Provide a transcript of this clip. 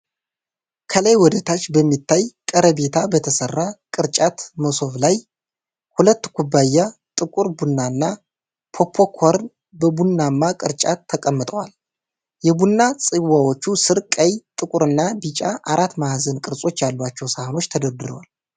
ከላይ ወደታች በሚታይ ቀርቤታ በተሠራ ቅርጫት መሶብ ላይ፣ ሁለት ኩባያ ጥቁር ቡናና ፖፖኮርን በቡናማ ቅርጫት ተቀምጠዋል። የቡና ጽዋዎቹ ስር ቀይ፣ ጥቁርና ቢጫ አራት ማዕዘን ቅርጾች ያሏቸው ሳህኖች ተደርድረዋል።